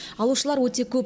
алушылар өте көп